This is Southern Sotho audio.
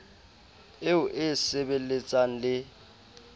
eo e e sebelletsang le